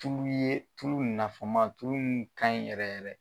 Tulu ye tulu in na kuma, tulu in tun ka ɲi yɛrɛ yɛrɛ